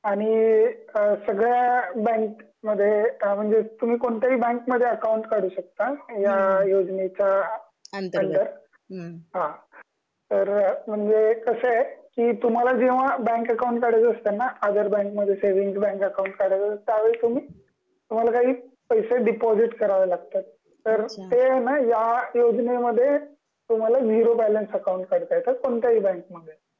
अ आणि अ सगळ्या बँक मध्ये अ म्हणजे तुम्ही कोणत्या हि बँक मध्ये अकाउंट काढू शकता या योजनेच्या अंडर